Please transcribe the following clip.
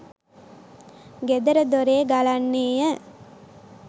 ගෙදර දොරේ ගලන්නේ ය.